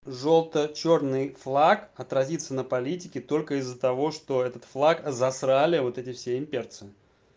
желто чёрный флаг отразится на политике только из-за того что этот флаг засрали вот эти все имперцы